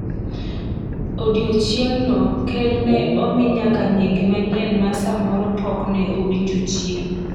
odiochiengno, ker ne omi nyaka nyinge manyien ma samoro pok ne owinjo chien,